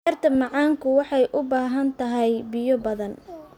Beerta macaanku waxay u baahan tahay biyo badan.